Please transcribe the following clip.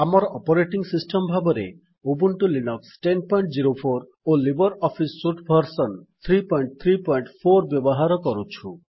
ଆମର operating system ଭାବରେ Ubuntu Linux ୧୦୦୪ ଓ ଲିବର ଅଫିସ୍ ସୁଟ୍ ଭର୍ସନ୍ ୩୩୪ ବ୍ୟବହାର କରୁଛୁ